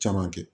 Caman kɛ